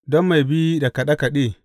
Don mai bi da kaɗe kaɗe.